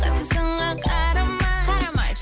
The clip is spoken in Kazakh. сынға қарамай қарамай